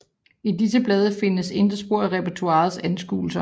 I disse blade findes der intet spor af Repertoriets anskuelser